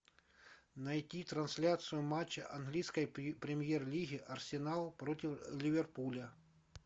найти трансляцию матча английской премьер лиги арсенал против ливерпуля